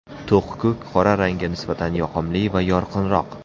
To‘q ko‘k qora rangga nisbatan yoqimli va yorqinroq.